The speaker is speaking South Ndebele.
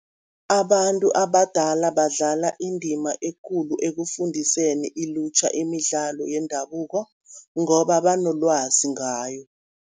Abantu abadala badlala indima ekulu ekufundiseni ilutjha imidlalo yendabuko, ngoba banolwazi ngayo.